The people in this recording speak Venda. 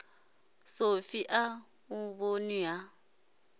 sofi a u vhoni ha